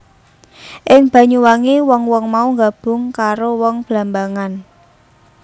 Ing Banyuwangi wong wong mau nggabung karo wong Blambangan